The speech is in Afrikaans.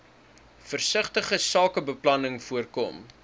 versigtige sakebeplanning voorkom